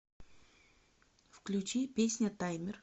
включи песня таймер